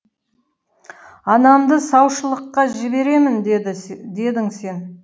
анамды саушылыққа жіберемін дедің сен